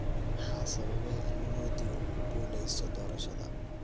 maxaa sababay in modi uu ku guuleysto doorashada